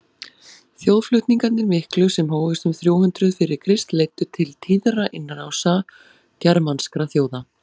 þjóðflutningarnir miklu sem hófust um þrjú hundruð fyrir krist leiddu til tíðra innrása germanskra þjóða